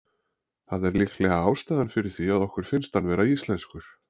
Það er líklega ástæðan fyrir því að okkur finnst hann vera íslenskur.